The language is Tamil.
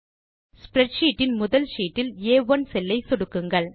ஸ்ப்ரெட்ஷீட் இன் முதல் ஷீட்டில் ஆ1 செல் ஐ சொடுக்குங்கள்